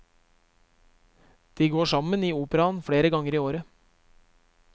De går sammen i operaen flere ganger i året.